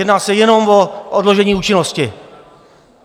Jedná se jenom o odložení účinnosti.